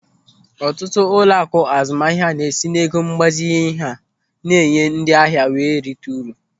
Ọtụtụ ụlọaku azụmahịa na-esi n'ego mgbazinye ha na-enye ndị ahịa were erita uru.